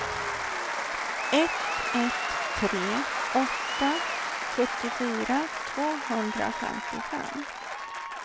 ett ett tre åtta sjuttiofyra tvåhundrafemtiofem